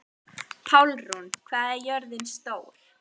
Pálrún, hvað er jörðin stór?